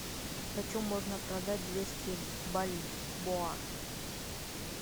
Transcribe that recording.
почем можно продать двести бальбоа